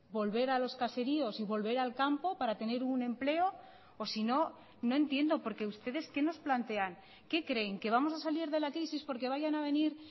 volver a los caseríos y volver al campo para tener un empleo o si no no entiendo porque ustedes qué nos plantean qué creen que vamos a salir de la crisis porque vayan a venir